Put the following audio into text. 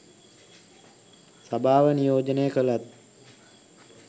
සභාව නියෝජනය කළත්